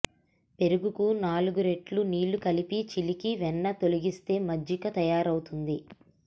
పెరుగుకు నాలుగురెట్లు నీళ్లు కలిపి చిలికి వెన్న తొలగిస్తే మజ్జిగ తయారవుతుంది